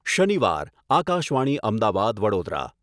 શનિવાર આકાશવાણી અમદાવાદ, વડોદરા....